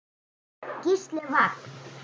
Gísli Vagn.